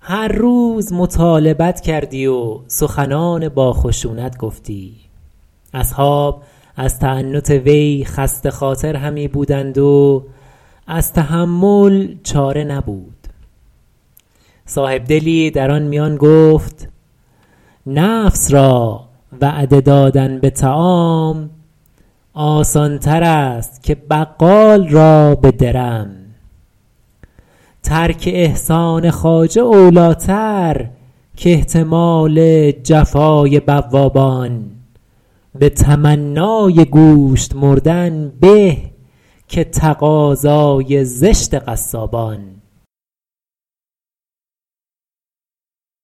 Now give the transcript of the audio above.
هر روز مطالبت کردی و سخنان با خشونت گفتی اصحاب از تعنت وی خسته خاطر همی بودند و از تحمل چاره نبود صاحبدلی در آن میان گفت نفس را وعده دادن به طعام آسان تر است که بقال را به درم ترک احسان خواجه اولی ٰتر کاحتمال جفای بوابان به تمنای گوشت مردن به که تقاضای زشت قصابان